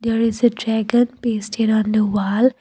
there is a dragon pasted on the wall.